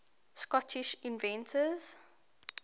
scottish inventors